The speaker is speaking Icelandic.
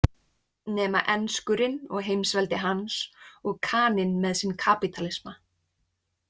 Nema enskurinn og heimsveldi hans og Kaninn með sinn kapítalisma.